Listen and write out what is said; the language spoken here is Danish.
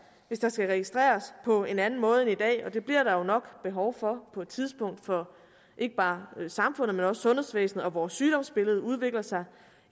hvis der skal registreres på en anden måde end i dag og det bliver der jo nok behov for på et tidspunkt for ikke bare samfundet men også sundhedsvæsenet og vores sygdomsbilleder udvikler sig